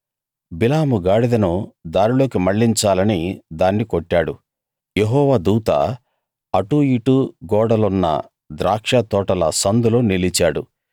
యెహోవా దూత అటూ ఇటూ గోడలున్న ద్రాక్షతోటల సందులో నిలిచాడు